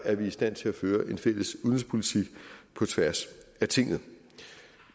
er vi i stand til at føre en fælles udenrigspolitik på tværs af tinget